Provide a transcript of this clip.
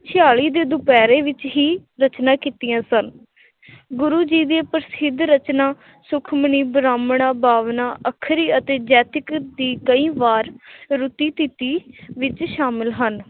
ਛਿਆਲੀ ਦੇ ਦੁਪੈਰੇ ਵਿੱਚ ਹੀ ਰਚਨਾ ਕੀਤੀਆਂ ਸਨ ਗੁਰੂ ਜੀ ਦੀਆਂ ਪ੍ਰਸਿੱਧ ਰਚਨਾ ਸੁਖਮਨੀ, ਬ੍ਰਾਹਮਣਾ, ਬਾਵਨਾ, ਅੱਖਰੀ ਅਤੇ ਜੈਤਿਕ ਦੀ ਕਈ ਵਾਰ ਵਿੱਚ ਸ਼ਾਮਲ ਹਨ l